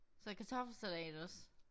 Så kartoffelsalat også